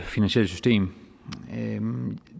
finansielle system